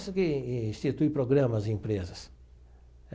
Essa que institui programas em empresas.